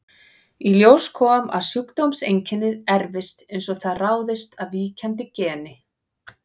Í ljós kom að sjúkdómseinkennið erfist eins og það ráðist af víkjandi geni.